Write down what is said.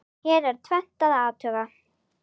Hér er tvennt að athuga.